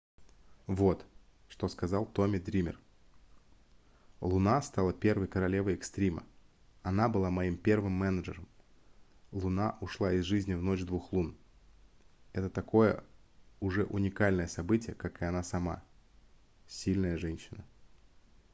вот что сказал томми дример луна стала первой королевой экстрима она была моим первым менеджером луна ушла из жизни в ночь двух лун это такое уже уникальное событие как и она сама сильная женщина